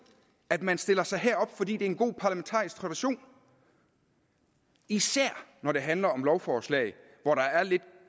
at man stiller sig herop fordi det er en god parlamentarisk tradition især når det handler om lovforslag hvor der er lidt